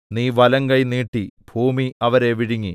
നീ വലങ്കൈ നീട്ടി ഭൂമി അവരെ വിഴുങ്ങി